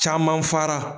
Caman fara